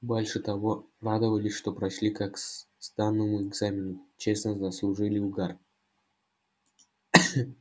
больше того радовались что прошли как сданному экзамену честно заслужили угар